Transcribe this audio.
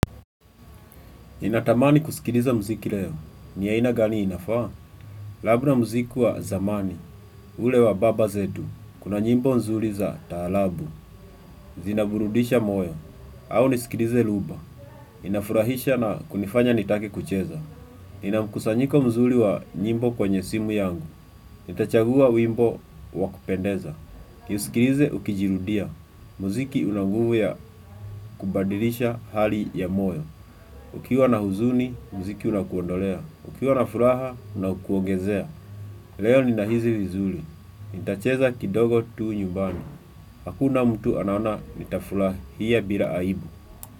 Ninatamani kusikiliza muziki leo. Ni aina gani inafaa? Labda muziki wa zamani. Ule wa baba zetu. Kuna nyimbo nzuri za taarabu. Zinaburudisha moyo. Au nisikilize rumba. Inafurahisha na kunifanya nitake kucheza. Ninamkusanyiko mzuri wa nyimbo kwenye simu yangu. Nitachagua wimbo wakupendeza. Niusikilize ukijirudia. Muziki una nguvu ya kubadilisha hali ya moyo. Ukiwa na huzuni, muziki unakuondolea. Ukiwa na furaha, unakuongezea. Leo ni nahisi vizuri. Nitacheza kidogo tu nyumbani. Hakuna mtu anaona nitafurahia bila aibu.